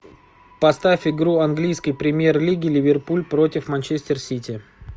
поставь игру английской премьер лиги ливерпуль против манчестер сити